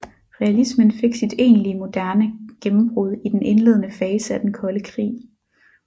Realismen fik sit egentlige moderne gennembrud i den indledende fase af den kolde krig